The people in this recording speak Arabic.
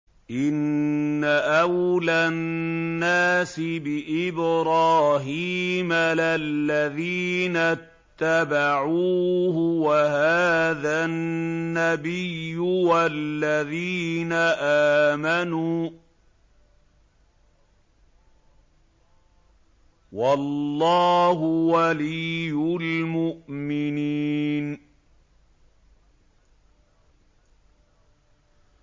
إِنَّ أَوْلَى النَّاسِ بِإِبْرَاهِيمَ لَلَّذِينَ اتَّبَعُوهُ وَهَٰذَا النَّبِيُّ وَالَّذِينَ آمَنُوا ۗ وَاللَّهُ وَلِيُّ الْمُؤْمِنِينَ